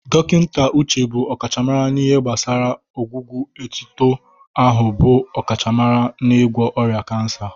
Dọkịnta Uche bụ ọkachamara n'ihe gbasara gbasara ọgwụgwọ etuto ahụ bụ ọkachamara n'ịgwọ ọrịa kansa.